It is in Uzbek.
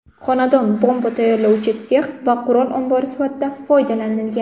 Xonadon bomba tayyorlovchi sex va qurol ombori sifatida foydalanilgan.